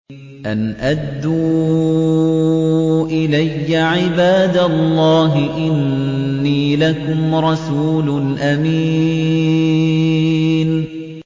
أَنْ أَدُّوا إِلَيَّ عِبَادَ اللَّهِ ۖ إِنِّي لَكُمْ رَسُولٌ أَمِينٌ